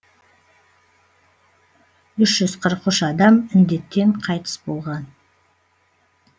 үш жүз қырық үш адам індеттен қайтыс болған